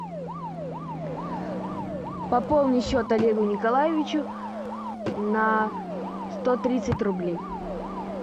пополни счет олегу николаевичу на сто тридцать рублей